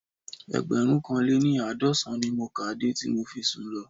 Ẹgbẹ̀rúnkanléní-àádọ́sàn-án ni mo kà á de tí mo fi sùn lọ